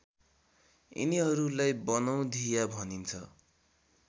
यिनीहरूलाई बनौधिया भनिन्छ